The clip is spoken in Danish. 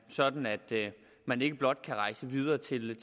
sådan at man ikke blot kan rejse videre til